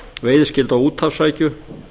veiðiskyldu á úthafsrækju